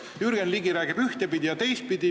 Jürgen Ligi räägib ühtepidi ja teistpidi.